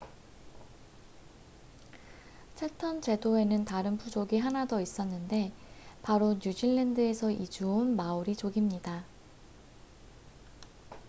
채텀 제도에는 다른 부족이 하나 더 있었는데 바로 뉴질랜드에서 이주 온 마오리 족입니다